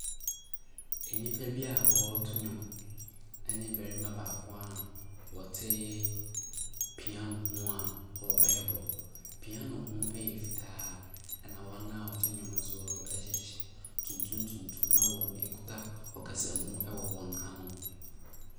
Nnipa bi a wɔreto nnwom ne barima baako a ɔte piano ho a ɔrebɔ. Piano no yɛ fitaa, ɛna wɔn a wɔto nnwom no nso hyehyɛ hyehyɛ tuntum tuntum na wɔkita ɔkasamu wɔ wɔn ano.